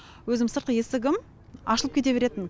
өзім сыртқы есігім ашылып кете беретін